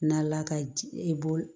Na ala ka ji i bɔ